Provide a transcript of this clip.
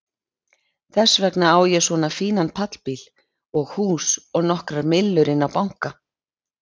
Þess vegna á ég svona fínan pallbíl og hús og nokkrar millur inni á banka.